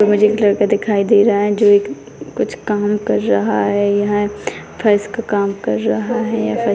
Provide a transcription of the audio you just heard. मुझे एक लड़का दिखाई दे रहा है जो एक कुछ काम कर रहा है यह फ़र्श का काम कर रहा है।